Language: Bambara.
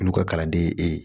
Olu ka kalanden ye e ye